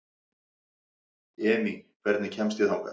Emý, hvernig kemst ég þangað?